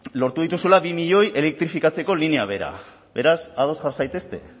lortu dituzuela bi milioi identifikatzeko linea bera beraz ados jar zaitezte